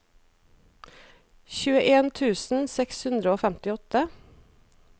tjueen tusen seks hundre og femtiåtte